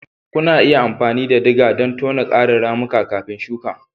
Kuna iya amfani da digger don tona ƙarin ramuka kafin shuka.